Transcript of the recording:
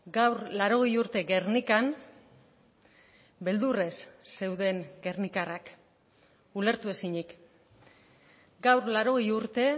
gaur laurogei urte gernikan beldurrez zeuden gernikarrak ulertu ezinik gaur laurogei urte